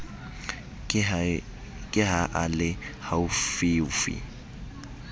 ke ha a le haufiufi